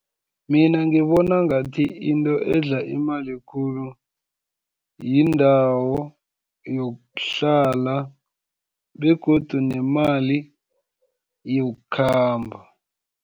Mina ngibona ngathi, into edla imali khulu, yindawo yokuhlala, begodu nemali yokukhamba.